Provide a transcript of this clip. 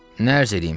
Nə ərz eləyim?